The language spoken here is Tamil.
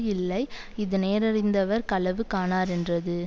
இல்லை இது நேரறிந்தவர் களவு காணாரென்றது